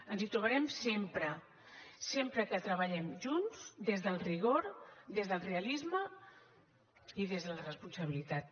ens hi trobarem sempre sempre que treballem junts des del rigor des del realisme i des de la responsabilitat